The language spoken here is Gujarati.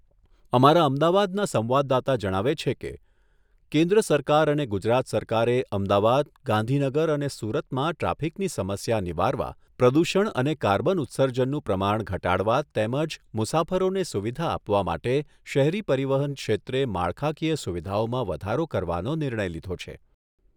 અમારા અમદાવાદના સંવાદદાતા જણાવે છે કે, કેન્દ્ર સરકાર અને ગુજરાત સરકારે અમદાવાદ, ગાંધીનગર અને સુરતમાં ટ્રાફિકની સમસ્યા નિવારવા, પ્રદૂષણ અને કાર્બન ઉત્સર્જનનું પ્રમાણ ઘટાડવા તેમજ મુસાફરોને સુવિધા આપવા માટે શહેરી પરિવહન ક્ષેત્રે માળખાકીય સુવિધાઓમાં વધારો કરવાનો નિર્ણય લીધો છે..